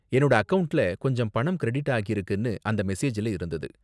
என்னோட அக்கவுண்ட்ல கொஞ்சம் பணம் கிரெடிட் ஆகிருக்குனு அந்த மெசேஜ்ல இருந்தது.